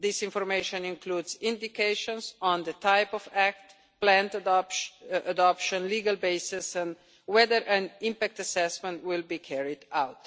This information includes indications on the type of act, planned adoption, legal basis and whether an impact assessment will be carried out.